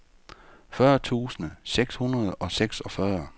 fyrre tusind seks hundrede og seksogfyrre